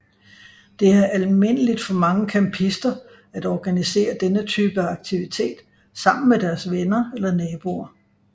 Det er almindeligt for mange campister at organisere denne type aktivitet sammen med deres venner eller naboer